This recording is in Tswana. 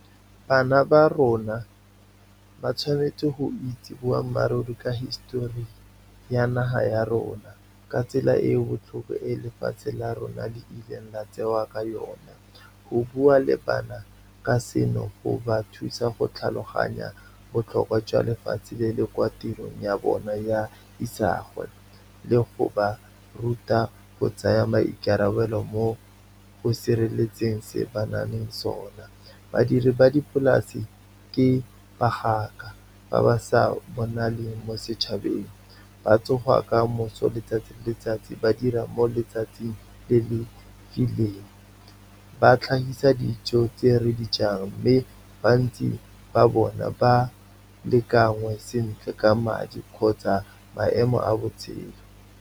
Bana ba rona ba tshwanetse go itse boammaaruri ka histori ya naga ya rona, ka tsela e e botlhoko e lefatshe la rona di ileng la tsewa ka yone. Go bua le bana ka seno, go ba thusa go tlhaloganya botlhokwa jwa lefatshe le le kwa tirong ya bona ya isagwe le go ba ruta go tsaya maikarabelo mo go sireletseng se banaleng sona. Badiri ba dipolase ke bagaka ba ba sa bonaleng mo setšhabeng, ba tsoga ka moso letsatsi le letsatsi, ba dira mo letsatsing le le , ba tlhagisa dijo tse re di jang, mme bantsi ba bona ba le kangwe sentle ka madi kgotsa maemo a botshelo.